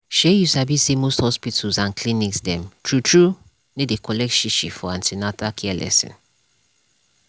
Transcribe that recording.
shey u sabi say most hospitals and clinics dem true true no dey collect shishi for an ten atal care lesson.